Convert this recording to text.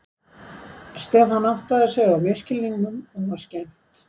Stefán áttaði sig á misskilningnum og var skemmt.